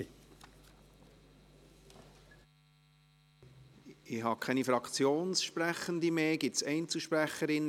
Ich habe keine Fraktionssprechenden mehr auf der Liste.